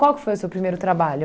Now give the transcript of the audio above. Qual que foi o seu primeiro trabalho?